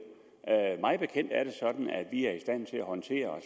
mig bekendt er det sådan at vi er i stand til at håndtere